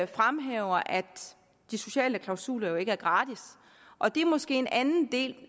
fremhæver at de sociale klausuler jo ikke er gratis og det er måske en anden del